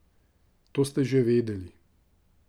To ste že vedeli.